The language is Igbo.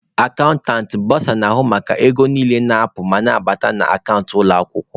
Akantantị/ bọsa na-ahụ maka ego niile na-apụ ma na-abata na akant ụlọ akwụkwọ.